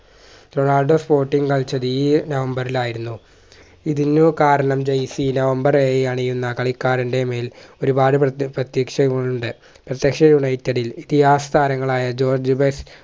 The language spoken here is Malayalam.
റൊണാൾഡോ sporting കളിച്ചത് ഈ number ൽ ആയിരുന്നു ഇതിനു കാരണം jerseynumber ഏഴ്‌ അണിയുന്ന കളിക്കാരന്റെ മേൽ ഒരുപാടു പ്രത്യക്ഷ പ്രത്യക്ഷകൾ ഉണ്ട് പ്രത്യക്ഷ united ൽ ഇതിഹാസ താരങ്ങളായ ജോർജ് ഉബേസ്